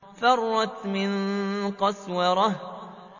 فَرَّتْ مِن قَسْوَرَةٍ